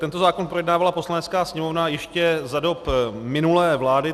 Tento zákon projednávala Poslanecká sněmovna ještě za dob minulé vlády.